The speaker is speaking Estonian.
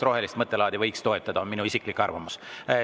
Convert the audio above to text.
Rohelist mõttelaadi võiks toetada, on minu isiklik arvamus.